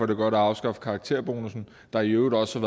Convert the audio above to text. det godt at afskaffe karakterbonussen der i øvrigt også